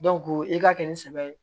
i ka kɛ ni sɛbɛ ye